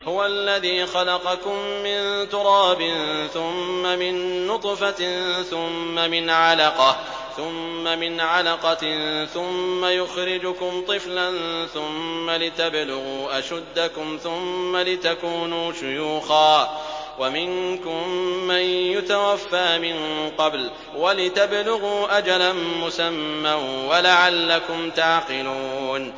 هُوَ الَّذِي خَلَقَكُم مِّن تُرَابٍ ثُمَّ مِن نُّطْفَةٍ ثُمَّ مِنْ عَلَقَةٍ ثُمَّ يُخْرِجُكُمْ طِفْلًا ثُمَّ لِتَبْلُغُوا أَشُدَّكُمْ ثُمَّ لِتَكُونُوا شُيُوخًا ۚ وَمِنكُم مَّن يُتَوَفَّىٰ مِن قَبْلُ ۖ وَلِتَبْلُغُوا أَجَلًا مُّسَمًّى وَلَعَلَّكُمْ تَعْقِلُونَ